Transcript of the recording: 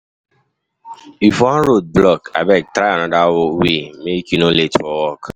If one road block, abeg try another way make you no late for work.